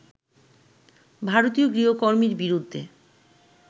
ভারতীয় গৃহকর্মীর বিরুদ্ধে